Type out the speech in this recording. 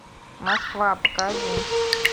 москва покажи